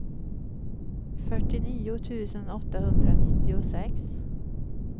fyrtionio tusen åttahundranittiosex